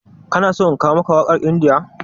Ka na so in kawo maka wakar India?